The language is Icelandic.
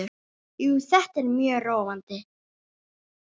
Jú, þetta er mjög róandi.